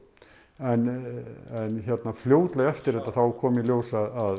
en fljótlega eftir þetta þá kom í ljós að